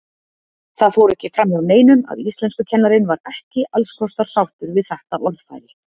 Það fór ekki framhjá neinum að íslenskukennarinn var ekki allskostar sáttur við þetta orðfæri.